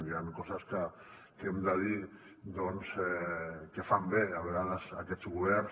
hi han coses que hem de dir doncs que fan bé a vegades aquests governs